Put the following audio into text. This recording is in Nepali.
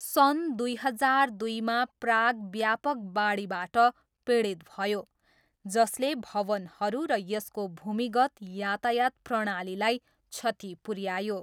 सन् दुई हजार दुईमा प्राग व्यापक बाढीबाट पीडित भयो जसले भवनहरू र यसको भूमिगत यातायात प्रणालीलाई क्षति पुऱ्यायो।